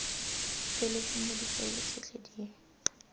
feletseng ya difaele tsotlhe di